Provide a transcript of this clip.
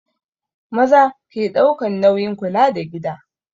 Maza ke ɗaukan nauyin kula da gida